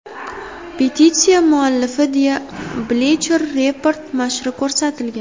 Petitsiya muallifi deya Bleacher Report nashri ko‘rsatilgan.